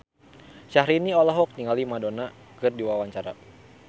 Syahrini olohok ningali Madonna keur diwawancara